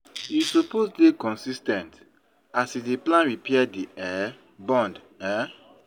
You suppose dey consis ten t as you dey plan repair di um bond. um